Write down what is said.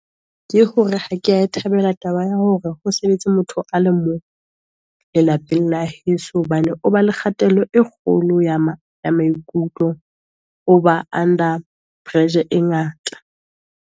Ke ho re ha ke a e thabela taba ya ho re o sebetse motho a le mong lelapeng la heso. Hobane o ba le kgatello e kgolo ya ma ya maikutlo, o ba under pressure e ngata.